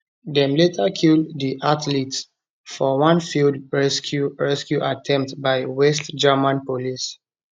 dem later kill di athletes for one failed rescue rescue attempt by west german police